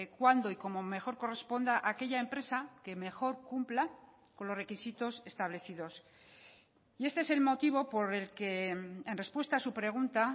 cuándo y cómo mejor corresponda a aquella empresa que mejor cumpla con los requisitos establecidos y este es el motivo por el que en respuesta a su pregunta